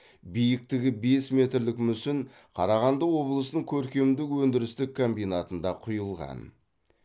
биіктігі бес метрлік мүсін қарағанды облысының көркемдік өндірістік комбинатында құйылған